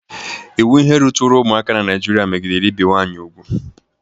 Iwu ihe ruturu ụmụaka n'Naịjịrịa megidere ibi nwaanyị ubu.